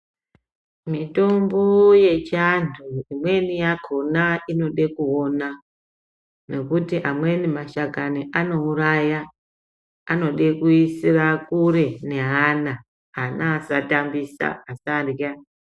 Mitombo yechiantu imweni yakona inode kuona. Nokuti amweni mashakani anouraya anode kuisira kure neana ana asatambisa asarya.